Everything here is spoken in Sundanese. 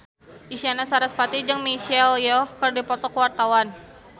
Isyana Sarasvati jeung Michelle Yeoh keur dipoto ku wartawan